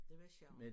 Det var sjov